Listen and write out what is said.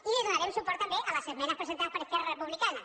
i dona·rem suport també a les esmenes presentades per es·querra republicana